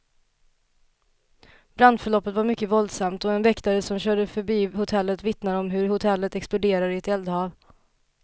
Brandförloppet var mycket våldsamt, och en väktare som körde förbi hotellet vittnar om hur hotellet exploderade i ett eldhav.